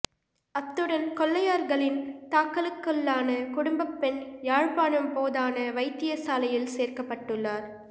அத்துடன் கொள்ளையர்களின் தாக்குதலுக்குள்ளான குடும்பப் பெண் யாழ்ப்பாணம் போதனா வைத்தியசாலையில் சேர்க்கப்பட்டுள்ளார்